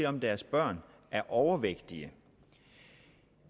om deres børn er overvægtige